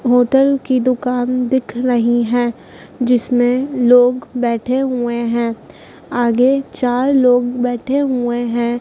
Hotel कि दुकान दिख रही है जिसमें लोग बैठे हुए है आगे चार लोग बैठे हुए है।